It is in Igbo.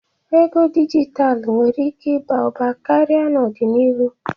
Ego dijitalụ nwere ike ịba ụba karịa n'ọdịnihu.